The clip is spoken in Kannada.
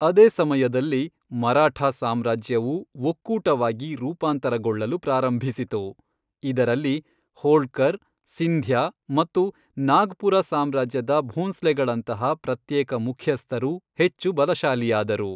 ಅದೇ ಸಮಯದಲ್ಲಿ, ಮರಾಠ ಸಾಮ್ರಾಜ್ಯವು ಒಕ್ಕೂಟವಾಗಿ ರೂಪಾಂತರಗೊಳ್ಳಲು ಪ್ರಾರಂಭಿಸಿತು, ಇದರಲ್ಲಿ ಹೋಳ್ಕರ್, ಸಿಂಧ್ಯಾ ಮತ್ತು ನಾಗ್ಪುರ ಸಾಮ್ರಾಜ್ಯದ ಭೋಂಸ್ಲೆಗಳಂತಹ ಪ್ರತ್ಯೇಕ ಮುಖ್ಯಸ್ಥರು ಹೆಚ್ಚು ಬಲಶಾಲಿಯಾದರು.